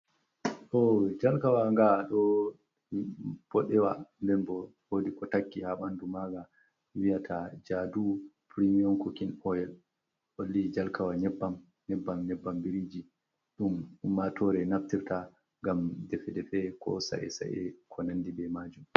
Ɗo jarkawa nga ɗo boɗewa den bo holi ko takki ha ɓandu maga wiyata jadu primion kukin oil holli jarkawa nyebbam, nyebbam biriji ɗum ummatore naftirta ngam defe defe ko sae sa’e ko nandi be majum.